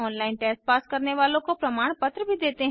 online test pass करने वालों को प्रमाण पत्र भी देते हैं